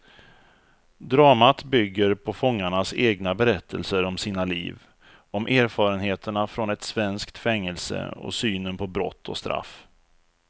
Dramat bygger på fångarnas egna berättelser om sina liv, om erfarenheterna från ett svenskt fängelse och synen på brott och straff.